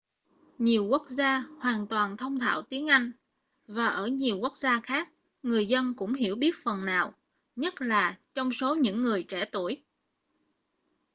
nhiều quốc gia hoàn toàn thông thạo tiếng anh và ở nhiều quốc gia khác người dân cũng hiểu biết phần nào nhất là trong số những người trẻ tuổi